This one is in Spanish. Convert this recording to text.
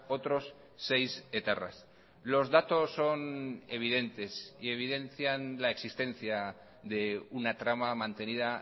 otros seis etarras los datos son evidentes y evidencian la existencia de una trama mantenida